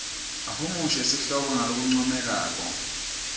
ahumushe sihloko ngalokuncomekako